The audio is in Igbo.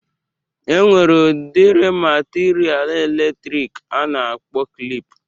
E nwere udiri matiria elektriki a na-akpọ klịp.